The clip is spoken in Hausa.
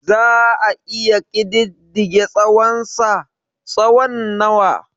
Za a iya ƙididdige tsawonsa/ tsawon nawa?